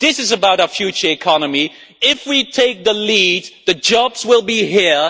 This is about our future economy. If we take the lead, the jobs will be here.